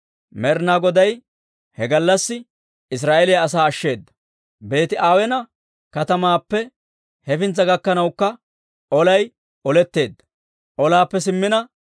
Med'inaa Goday he gallassi Israa'eeliyaa asaa ashsheeda. Beeti-Aweena katamaappe hefintsa gakkanawukka olay oletteedda.